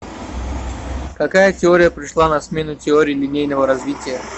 какая теория пришла на смену теории линейного развития